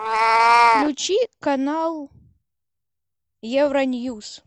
включи канал евроньюс